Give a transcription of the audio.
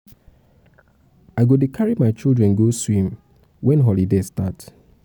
i go dey carry my children go swim wen holiday um holiday um start.